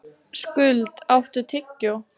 Skuld, áttu tyggjó?